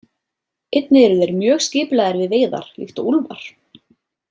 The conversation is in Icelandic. Einnig eru þeir mjög skipulagðir við veiðar líkt og úlfar.